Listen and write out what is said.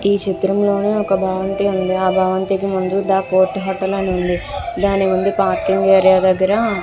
ఈ చిత్రం లో ఒక భవంతి వుంది ఆ భవంతి కి ముందు ది పోర్ట్ హోటల్ అని ఉంది. దాని ముందు పార్కింగ్ దగ్గర --